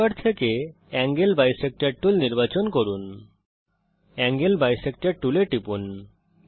টুল bar থেকে angle bisector tool নির্বাচন করুন এঙ্গেল বিসেক্টর টুলে টিপুন